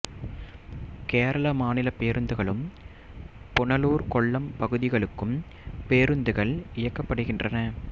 கேரள மாநிலப் பேருந்துகளும் புனலூர் கொல்லம் பகுதிகளுக்கும் பேருந்துகள் இயக்கப்படுகின்றன